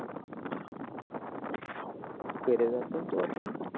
घरी जा तू आता